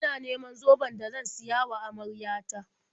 Ina neman zoben da zan siya wa amarya ta.